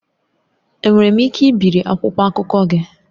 Enwere m ike ibiri akwụkwọ akụkọ gị?